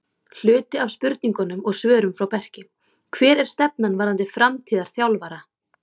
Hluti af spurningunum og svörum frá Berki: Hver er stefnan varðandi framtíðar þjálfara?